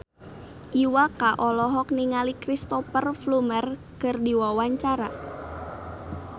Iwa K olohok ningali Cristhoper Plumer keur diwawancara